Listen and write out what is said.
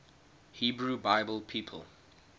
hebrew bible people